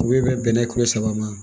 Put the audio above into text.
U bɛ bɛnɛ kulo saba ma